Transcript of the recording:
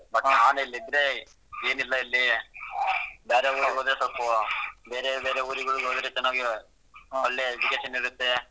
But ನಾನ್ ಇಲ್ಲಿ ಇದ್ರೆ ಏನ್ ಇಲ್ಲ ಇಲ್ಲಿ ಬ್ಯಾರೆ ಊರಿಗ್ ಹೋದ್ರೆ ಸಲ್ಪು ಬೇರೆ ಬೇರೆ ಊರ್ಗಳಿಗ್ ಹೋದ್ರೆ ಚೆನ್ನಾಗಿ ಒಳ್ಳೆ education ಇರುತ್ತೆ,